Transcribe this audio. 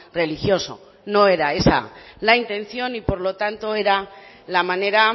religioso no era esa la intención y por lo tanto era la manera